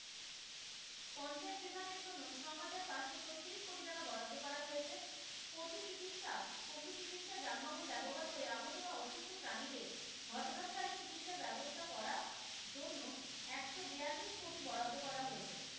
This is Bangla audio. চিকিৎসা পশু চিকিৎসা যানবাহন ব্যবহার করে আহত বা অসুস্থ প্রাণীদের ঘটনাস্থলে চিকিৎসার ব্যবস্থা করার জন্য একশো বিয়াল্লিশ কোটি বরাদ্দ করা হয়েছে।